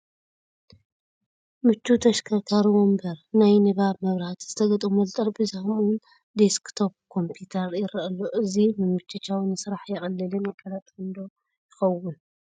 ምቹው ተሽከርካሪ ወንበ፣ ናይ ንባብ መብራህቲ ዝተገጠመሉ ጠረጴዛ ከምኡውን ዶስክቶ ኮምፒዩተር ይርአ ኣሎ፡፡ እዚ ምምችቻው ንስራሕ የቕልልን የቀላጥፍን ዶ ይኸውን?